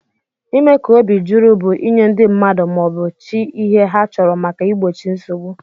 Ime ka obi juru bu inye ndi mmadu ma obu chi ihe ha chọrọ maka igbochi nsogbu.